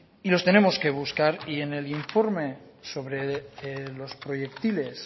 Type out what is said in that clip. en el informe sobre los proyectiles